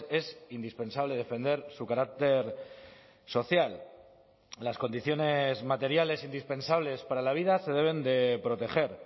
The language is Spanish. es indispensable defender su carácter social las condiciones materiales indispensables para la vida se deben de proteger